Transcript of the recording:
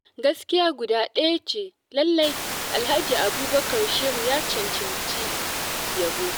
Gaskiya guda ɗaya ce, lallai Alhaji Abubakar Shehu ya cancanci yabo.